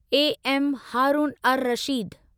A M Haroon ur Rashid